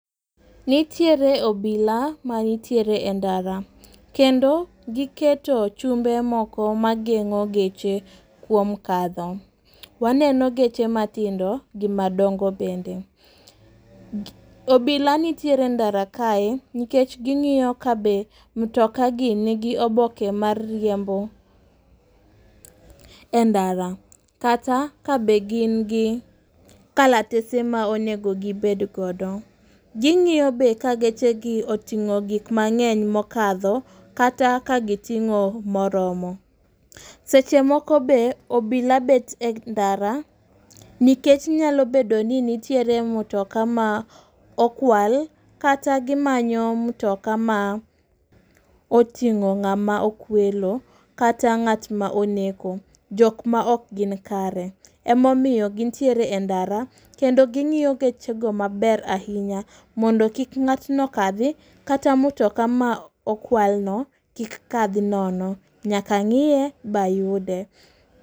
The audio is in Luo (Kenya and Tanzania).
Nitiere obilama nitiere e ndara. Kendo giketo chumbe moko mageng'o geche kuom kadho. Waneno geche mathindo gi madongo bende. Obila nitiere e ndara kae, nikech ging'iyo ka be mtoka gi nigi oboke mar riembo e ndara, kata ka be gin gi kalatese ma onego gibe godo. Ging'iyo be ka geche gi oting'o gik mang'eny mokadho kata ka giting'o moromo. Seche moko be obila bet e ndara nikech nyalo bedo ni nitiere mtoka ma okwal, kata gimanyo mtoka ma oting'o ng'ama okwelo, kata ng'atma oneko. Jok ma ok gin kare. Ema omiyo gintiere e ndara, kendo ging'iyo gechego maber ahinya mondo kik ng'atno okadhi, kata mtoka ma okwalno kik kadhi nono. Nyaka ng'iye, ba yude.